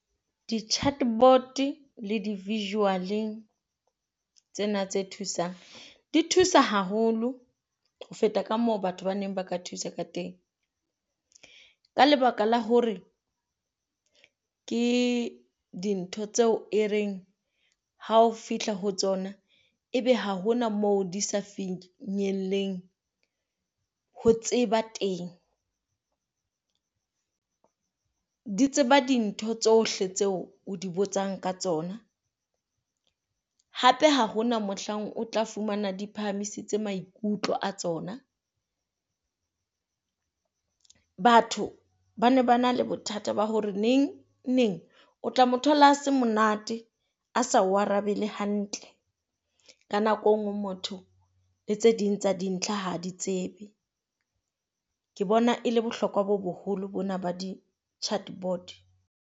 Di chart board-e le di visual-eng tsena tse thusang, di thusa haholo ho feta ka moo batho ba neng ba ka thusa ka teng. Ka lebaka la hore ke dintho tseo e reng hao fihla ho tsona ebe ha hona moo di sa finyelleng ho tseba teng, di tseba dintho tsohle tseo o di botsang ka tsona. Hape ha hona mohlang o tla fumana di phamisitse maikutlo a tsona. Batho ba na ba na le bothata ba hore neng neng o tla mo thola a se monate a sa o arabe le hantle. Ka nako enngwe motho le tse ding tsa dintlha ha di tsebe. Ke bona e le bohlokwa bo boholo bona ba di chart board.